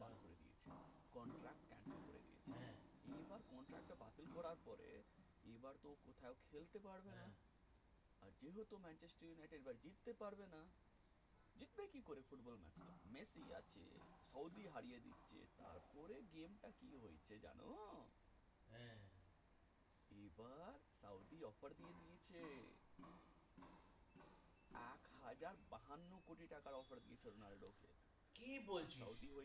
কি বলছ